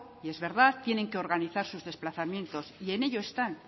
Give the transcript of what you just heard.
y es verdad tienen que organizar sus desplazamientos